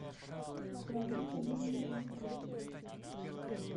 марине юрьевне григорьевой